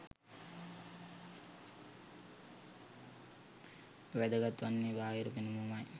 වැදගත් වන්නේ බාහිර පෙනුම ම යි.